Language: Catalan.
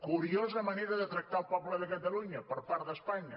curiosa manera de tractar el poble de catalunya per part d’espanya